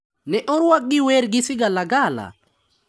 Ne orwakgi gi wer gi sigalagala.